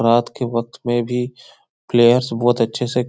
रात के वक्त में भी प्लेयर्स बहुत अच्छे से --